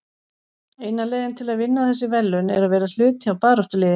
Eina leiðin til að vinna þessi verðlaun er að vera hluti af baráttuliði.